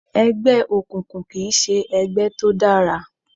Ẹgbẹ́ òkùnkùn kìí ṣe ẹgbẹ́ tó dára